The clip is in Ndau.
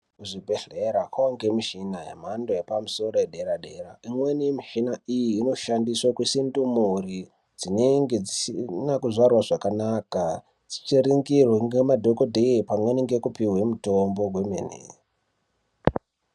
Kuzvibhedhlera kwakuwanikwa mishina yemhando yepamusoro yedera dera imweni yemushina iyi inoshandiswa kuisa ndumure dzinenge dzisina kuzvarwa zvakanaka dzichiningirwa nemadhokodheya pamweni nekupihwa mitombo kwemene.